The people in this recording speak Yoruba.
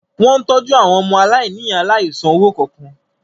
Wó̩n ń tọ́jú àwọn ọmọaláìníìyá láìsan owó kankan